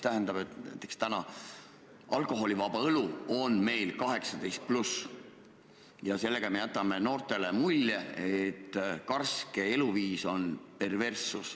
Näiteks, alkoholivaba õlu on meil praegu 18+ ja sellega me jätame noortele mulje, et karske eluviis on perverssus.